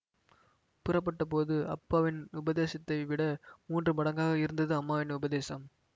புறப்பட்டபோது அப்பாவின் உபதேசத்தைவிட மூன்று மடங்காக இருந்தது அம்மாவின் உபதேசம்